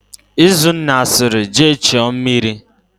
Izunna sịrị, "jee chuo mmiri"!.